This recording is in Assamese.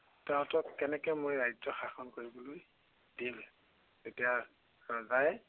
তাহঁতক কেনেকৈ মই ৰাজ্য় শাসন কৰিবলৈ দিম। তেতিয়া ৰজাই